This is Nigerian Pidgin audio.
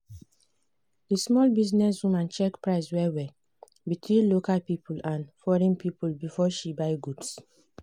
di small business woman check price well-well between local people and foreign people before she buy goods.